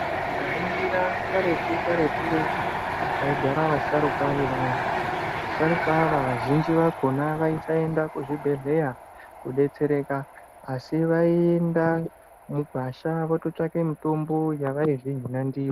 Tikaringira karetu-karetu kwaigara vasharukwa vevantu. Vasharukwa ava vazhinji vakhona vaisaenda kuzvibhedhleya koodetsereka, asi vaienda mugwasha vototsvake mutombo yavaizvihina ndiyo.